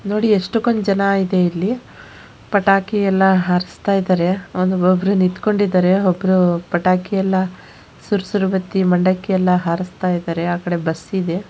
ನೋಡಿ ಎಷ್ಟ ಜನ ಇದೆ ಇಲ್ಲಿ. ಪಟಾಕಿ ಎಲ್ಲ ಹಾರಸ್ತಾ ಇದಾರೆ ಒಬ್ಬರು ನಿಂತಕೊಂಡಿದ್ದಾರೆ ಒಬ್ಬರು ಪಟಾಕಿ ಎಲ್ಲಾ ಸುರ್ಸುರು ಬತ್ತಿ ಮಂಡಕ್ಕಿ ಎಲ್ಲ ಹಾರಿಸ್ತಾಯಿದ್ದಾರೆ. ಆ ಕಡೆ ಬಸ್ ಇದೆ.